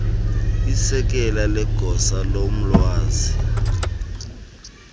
isekela legosa lolwazi